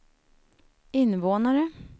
invånare